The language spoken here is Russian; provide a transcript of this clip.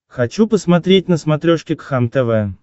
хочу посмотреть на смотрешке кхлм тв